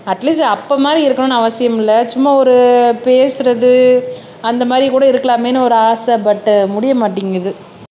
at least அப்ப மாதிரி இருக்கணும்னு அவசியம் இல்ல சும்மா ஒரு பேசுறது அந்த மாதிரி கூட இருக்கலாமேன்னு ஒரு ஆசை பட்டு முடிய மாட்டேங்குது